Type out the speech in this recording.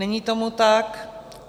Není tomu tak.